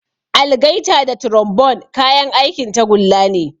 Algaita da trombone kayan aikin tagulla ne.